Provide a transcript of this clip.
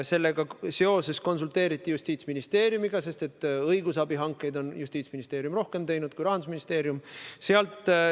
Selle küsimusega seoses konsulteeriti Justiitsministeeriumiga, sest õigusabihankeid on Justiitsministeerium teinud rohkem kui Rahandusministeerium.